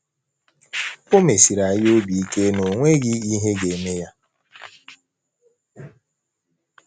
O mesiri anyị obi ike na o nweghị ihe ga - eme ya.